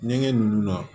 Ɲɛgɛn ninnu na